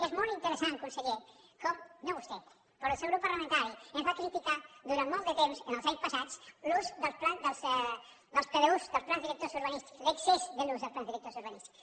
és molt interessant conseller com no vostè però el seu grup parlamentari ens va criticar durant molt de temps en els anys passats l’ús dels pdu dels plans directors urbanístics l’excés de l’ús dels plans directors urbanístics